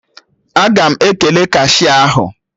Aga m ekele kashia ahụ